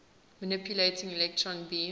manipulating electron beams